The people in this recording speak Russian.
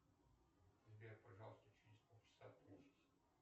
сбер пожалуйста через пол часа отключись